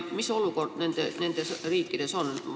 Mis olukord naaberriikides on?